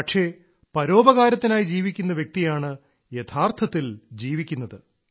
പക്ഷേ പരോപകാരത്തിനായി ജീവിക്കുന്ന വ്യക്തിയാണ് യഥാർത്ഥത്തിൽ ജീവിക്കുന്നത്